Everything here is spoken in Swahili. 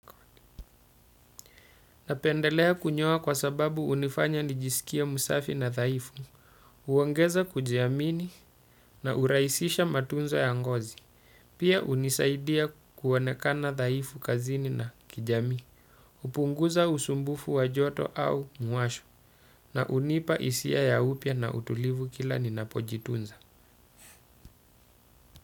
Napendelea kunyoa kwa sababu hunifanya nijisikie msafi na dhaifu, huongeza kujiamini na hurahisisha matunzo ya ngozi. Pia hunisaidia kuonekana dhaifu kazini na kijamii. Hupunguza usumbufu wa joto au muwasho na hunipa hisia ya upya na utulivu kila ninapojitunza.